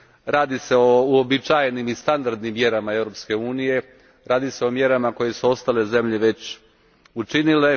Radi se o uobičajenim i standardnim mjerama Europske unije, radi se o mjerama koje su ostale zemlje već učinile.